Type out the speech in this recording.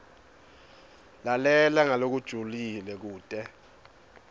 lalela ngalokujulile kute